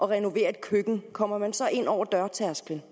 renoverer et køkken kommer man så ind over dørtærsklen